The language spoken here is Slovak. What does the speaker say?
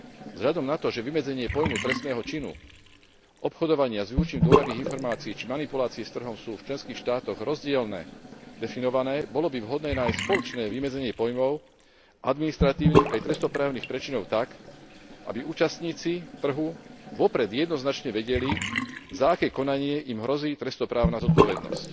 Vzhľadom na to, že vymedzenie pojmu trestného činu, obchodovania s využitím dôverných informácií či manipulácie s trhom sú v členských štátoch rozdielne definované, bolo by vhodné nájsť spoločné vymedzenie pojmov, administratívnych aj trestnoprávnych prečinov tak, aby účastníci trhu vopred jednoznačne vedeli, za aké konanie im hrozí trestnoprávna zodpovednosť.